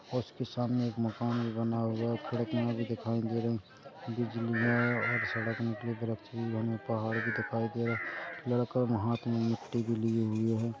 और उसके सामने एक मकान भी बना हुआ है खिड़कियाँ भी दिखाई दे रही है बिजलियाँ और सड़क में इतने वृक्ष भी लगे पहाड़ भी दिखाई दे रहा है लड़का हाथ में मिट्टि भी लिए हुए है।